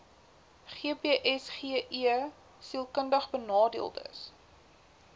gbsgeskiedkundigbenadeeldes